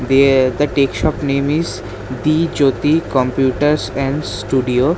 Theyaa the tech shop name is the jyoti computers and studio.